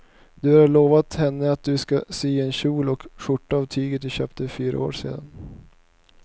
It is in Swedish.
Du har lovat henne att du ska sy en kjol och skjorta av tyget du köpte för fyra år sedan.